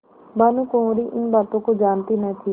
भानुकुँवरि इन बातों को जानती न थी